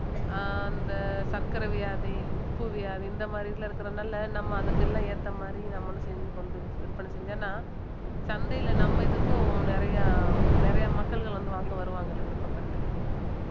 அஹ் அந்த சர்க்கரை வியாதி உப்பு வியாதி இந்த மாதிரி இதுல இருக்கிறதுனால நம்ம அதுக்கெல்லாம் ஏத்த மாதிரி நம்மளும் செஞ்சு கொண்டு விற்பனை செஞ்சோம்னா சந்தையில நம்ம இதுக்கும் நிறைய நிறைய மக்கள்கள் வந்து வாங்க வருவாங்கல்ல விருப்பப்பட்டு